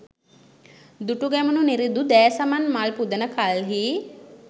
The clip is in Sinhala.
දුටුගැමුණු නිරිඳු දෑ සමන් මල් පුදන කල්හි